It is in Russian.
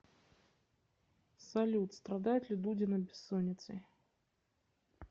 салют страдает ли дудина бессонницей